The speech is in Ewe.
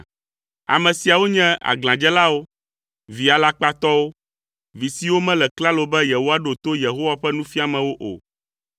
Ame siawo nye aglãdzelawo, vi alakpatɔwo, vi siwo mele klalo be yewoaɖo to Yehowa ƒe nufiamewo o.